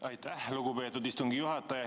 Aitäh, lugupeetud istungi juhataja!